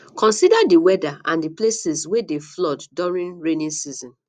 consider di weather and places wey dey flood during raining season